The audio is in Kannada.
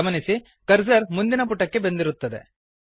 ಗಮನಿಸಿ ಕರ್ಸರ್ ಮುಂದಿನ ಪುಟಕ್ಕೆ ಬಂದಿರುತ್ತದೆ